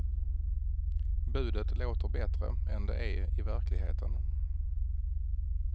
Budet låter bättre än det är i verkligheten.